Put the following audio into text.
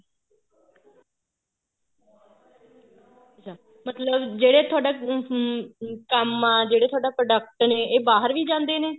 ਅੱਛਾ ਜਿਹੜੇ ਤੁਹਾਡਾ ਹਮ ਕੰਮ ਆ ਜਿਹੜੇ ਤੁਹਾਡੇ product ਨੇ ਇਹ ਬਾਹਰ ਵੀ ਜਾਂਦੇ ਨੇ